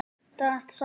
Dragast saman.